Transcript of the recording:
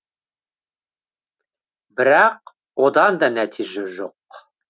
бірақ одан да нәтиже жоқ